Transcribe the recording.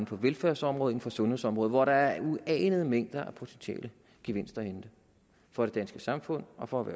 for velfærdsområdet og sundhedsområdet hvor der er uanede mængder af potentielle gevinster at hente for det danske samfund og for